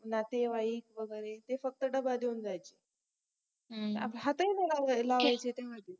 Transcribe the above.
नातेवाईक वगेरे फक्त डबा देऊन जायचे हात ही नाई लावायचे ते